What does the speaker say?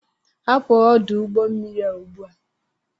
Hapụ ọdụ ụgbọ mmiri a ugbu a!